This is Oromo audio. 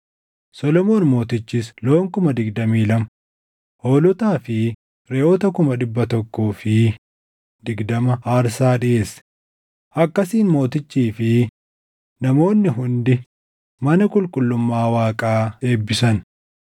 Solomoon Mootichis loon kuma digdamii lama, hoolotaa fi reʼoota kuma dhibba tokkoo fi digdama aarsaa dhiʼeesse; akkasiin mootichii fi namoonni hundi mana qulqullummaa Waaqaa eebbisan.